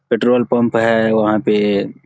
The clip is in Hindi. पेट्रोल पंप है वहां पे --